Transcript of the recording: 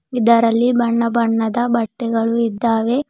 ಇದರಲ್ಲಿ ಬಣ್ಣ ಬಣ್ಣದ ಬಟ್ಟೆಗಳು ಇದ್ದಾವೆ.